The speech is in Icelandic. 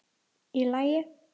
Í lagi?